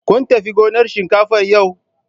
Kun tafi gonar shinkafan yau?